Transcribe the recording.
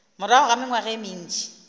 morago ga mengwaga ye mentši